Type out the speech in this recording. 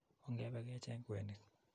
Ongepe kecheng' kwenik.